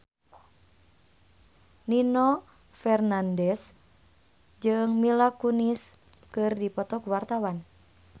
Nino Fernandez jeung Mila Kunis keur dipoto ku wartawan